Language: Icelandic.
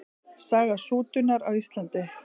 Saga sútunar á Íslandi.